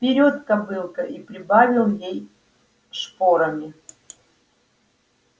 вперёд кобылка и прибавил ей шпорами